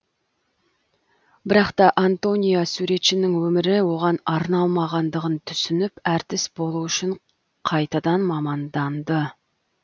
бірақ та антония суретшінің өмірі оған арналмағандығын түсініп әртіс болу үшін қайтадан маманданды